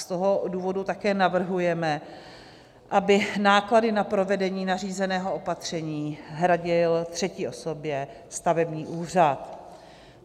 Z toho důvodu také navrhujeme, aby náklady na provedení nařízeného opatření hradil třetí osobě stavební úřad.